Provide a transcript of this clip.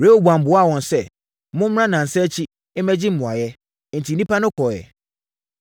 Rehoboam buaa wɔn sɛ, “Mommra nnansa akyi, mmɛgye mmuaeɛ.” Enti, nnipa no kɔeɛ.